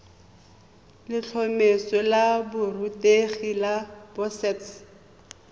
letlhomeso la borutegi la boset